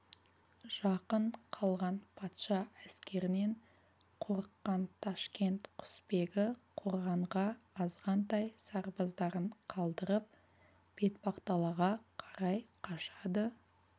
жақын қалған патша әскерінен қорыққан ташкент құсбегі қорғанға азғантай сарбаздарын қалдырып бетпақдалаға қарай қашады